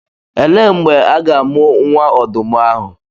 Elee mgbe a ga-amụ nwa ọdụm ahụ?